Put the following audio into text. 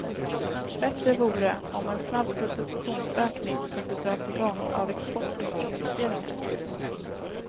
Bättre vore om en snabb produktionsökning kunde dras i gång av export och investeringar.